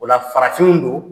O la farafinw don